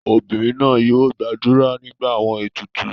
Obinrin naa yoo gbadura nigba awọn etutu